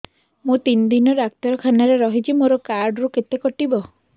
ମୁଁ ତିନି ଦିନ ଡାକ୍ତର ଖାନାରେ ରହିଛି ମୋର କାର୍ଡ ରୁ କେତେ କଟିବ